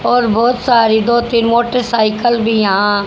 और बहुत सारी दो तीन मोटरसाइकिल भी यहां--